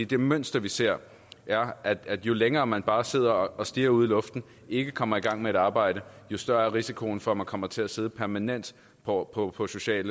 det mønster vi ser er at jo længere tid man bare sidder og stirrer ud i luften og ikke kommer i gang med et arbejde jo større er risikoen for at man kommer til at sidde permanent på på social